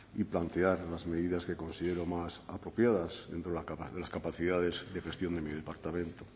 y plantear las medidas que considero más apropiadas dentro de las capacidades de gestión de mi departamento